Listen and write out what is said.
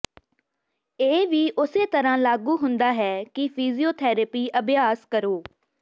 ਇਹ ਵੀ ਉਸੇ ਤਰ੍ਹਾਂ ਲਾਗੂ ਹੁੰਦਾ ਹੈ ਕਿ ਫਿਜ਼ੀਓਥੈਰੇਪੀ ਅਭਿਆਸ ਕਰੋ